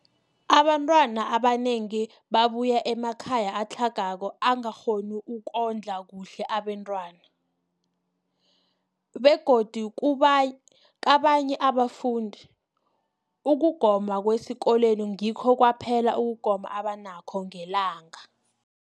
Abantwana abanengi babuya emakhaya atlhagako angakghoni ukondla kuhle abentwana, begodu kabanye abafundi, ukugoma kwesikolweni ngikho kwaphela ukugoma abanakho ngelanga.